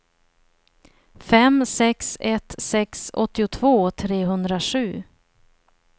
fem sex ett sex åttiotvå trehundrasju